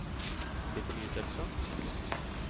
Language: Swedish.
betydelse